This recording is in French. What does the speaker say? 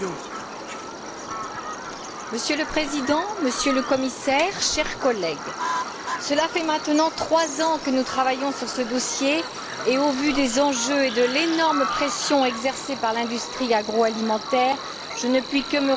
Monsieur le Président, Monsieur le Commissaire, chers collègues, cela fait maintenant trois ans que nous travaillons sur ce dossier et au vu des enjeux et de l'énorme pression exercée par l'industrie agroalimentaire, je ne puis que me réjouir du résultat obtenu.